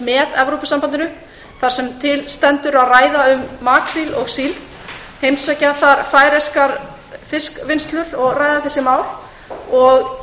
með evrópusambandinu þar sem til stendur að ræða um makríl og síld heimsækja færeyskar fiskvinnslustöðvar og ræða þessi mál ég